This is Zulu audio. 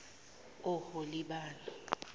oholibana